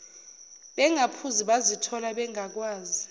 bengaphuzi bazithola bengakwazi